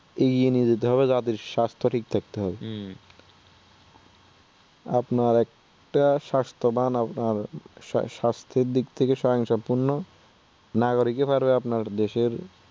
এগিয়ে নিয়ে যেতে হবে জাতির স্বাস্থ্য ঠিক রাখতে হবে হম আপনার একটা স্বাস্থ্যবান আপনার স্বাস্থ্যের দিক থেকে স্বয়ংসম্পূর্ণ নাগরিকে পারবে আপনার দেশের।